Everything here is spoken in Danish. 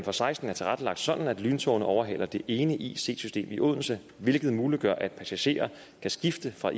og seksten er tilrettelagt sådan at lyntogene overhaler det ene ic system i odense hvilket muliggør at passagerer kan skifte fra